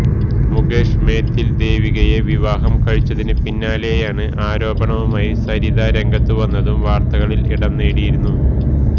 മുകേഷ് മേതിൽ ദേവികയെ വിവാഹം കഴിച്ചതിനു പിന്നാലെയാണ് ആരോപണവുമായി സരിത രംഗത്തുവന്നതും വാർത്തകളിൽ ഇടംനേടിയിരുന്നു